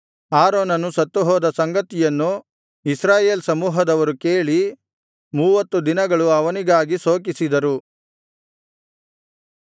ಆರೋನನು ಸತ್ತುಹೋದ ಸಂಗತಿಯನ್ನು ಇಸ್ರಾಯೇಲ್ ಸಮೂಹದವರು ಕೇಳಿ ಮೂವತ್ತು ದಿನಗಳು ಅವನಿಗಾಗಿ ಶೋಕಿಸಿದರು